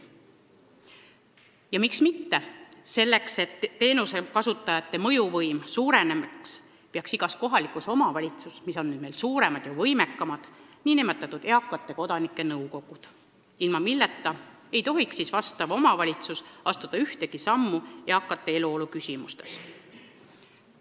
Ja miks mitte, selleks et teenusekasutajate mõjuvõim suureneks, peaks igas kohalikus omavalitsuses – omavalitsused on nüüd meil suuremad ja võimekamad – olema nn eakate kodanike nõukogu, ilma milleta ei tohiks omavalitsus astuda ühtegi sammu eakate eluolu küsimustes.